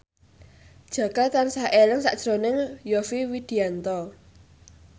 Jaka tansah eling sakjroning Yovie Widianto